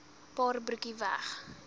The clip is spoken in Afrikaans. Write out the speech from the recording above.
paar broekie weg